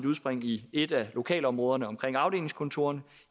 udspring i et af lokalområderne omkring afdelingskontorerne